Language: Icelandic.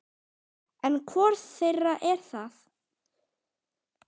En hvor þeirra er það?